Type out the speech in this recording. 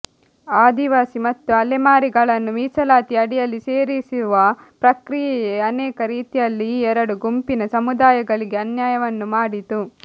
ಆದಿವಾಸಿ ಮತ್ತು ಅಲೆಮಾರಿಗಳನ್ನು ಮೀಸಲಾತಿ ಅಡಿಯಲ್ಲಿ ಸೇರಿಸುವ ಪ್ರಕ್ರಿಯೆಯೇ ಅನೇಕ ರೀತಿಯಲ್ಲಿ ಈ ಎರಡೂ ಗುಂಪಿನ ಸಮುದಾಯಗಳಿಗೆ ಅನ್ಯಾಯವನ್ನು ಮಾಡಿತು